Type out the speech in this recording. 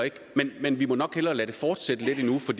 men vi må nok hellere lade det fortsætte lidt endnu for